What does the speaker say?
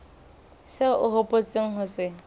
seo o hopotseng ho se